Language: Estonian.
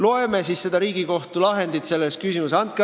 Loeme siis seda Riigikohtu lahendit selles küsimuses!